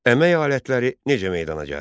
Əmək alətləri necə meydana gəldi?